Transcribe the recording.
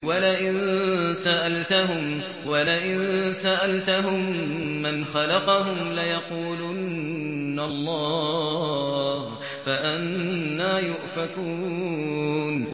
وَلَئِن سَأَلْتَهُم مَّنْ خَلَقَهُمْ لَيَقُولُنَّ اللَّهُ ۖ فَأَنَّىٰ يُؤْفَكُونَ